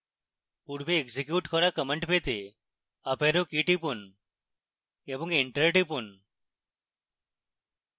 পূর্বে এক্সিকিউট করা command পেতে up arrow key টিপুন এবং enter টিপুন